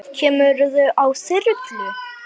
Kemurðu á þyrlu?